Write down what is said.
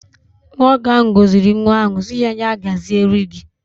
Nwoke ahụ gọziri nwa ahụ sị ya " ya gaziere gị".